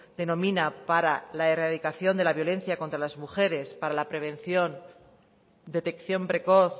denomina para la erradicación de la violencia contra las mujeres para la prevención detección precoz